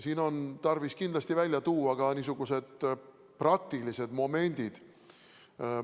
Siin on tarvis kindlasti välja tuua ka praktilised momendid.